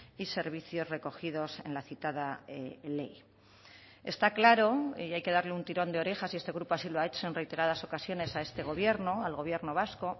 y servicios recogidos en la citada ley está claro y hay que darle un tirón de orejas y este grupo así lo ha hecho en reiteradas ocasiones a este gobierno al gobierno vasco